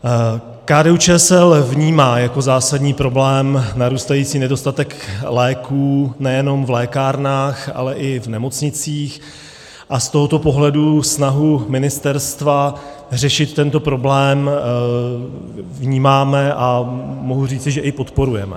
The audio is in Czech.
KDU-ČSL vnímá jako zásadní problém narůstající nedostatek léků nejenom v lékárnách, ale i v nemocnicích a z tohoto pohledu snahu ministerstva řešit tento problém vnímáme a mohu říci, že i podporujeme.